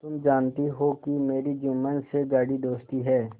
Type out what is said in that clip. तुम जानती हो कि मेरी जुम्मन से गाढ़ी दोस्ती है